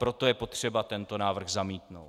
Proto je potřeba tento návrh zamítnout.